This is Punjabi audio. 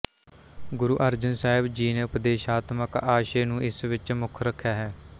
ਗੁਰੂ ਅਰਜਨ ਸਾਹਿਬ ਜੀ ਨੇ ਉਪਦੇਸ਼ਾਤਮਕ ਆਸ਼ੇ ਨੂੰ ਇਸ ਵਿੱਚ ਮੁੱਖ ਰੱਖਿਆ ਹੈ